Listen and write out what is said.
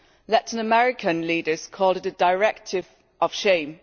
Latin American leaders called it a directive of shame.